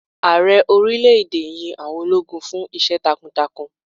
Ààrẹ orílè èdè yín àwọn ológun fún Iṣẹ́ takuntakun.